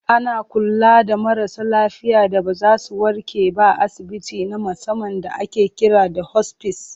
Ana kula da marasa lafiya da ba za zu warke ba a asibiti na musamman da ake kira da 'hospice'.